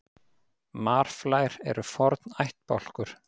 Marflær eru forn ættbálkur.